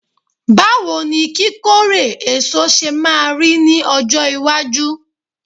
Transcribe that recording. bawo ni kikore eso se maa ri ni ojo iwaju?